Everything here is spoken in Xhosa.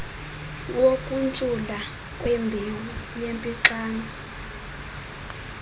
wokuntshula kwembewu yempixano